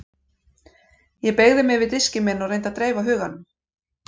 Ég beygði mig yfir diskinn minn og reyndi að dreifa huganum.